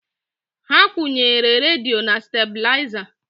Ha kwunyere radio na stabilizer